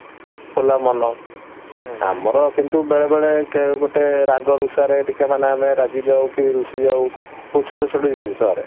ଖୋଲା ମନ ଆମର କିନ୍ତୁ ବେଳେ ବେଳେ ଗୋଟେ ରାଗ ରୁଷାରେ ଟିକେ ମାନେ ଆମେ ରାଗିଯାଉ କି ରୁଷି ଯାଉ କି କଉ ଛୋଟ ଛୋଟ ଜିନିଷରେ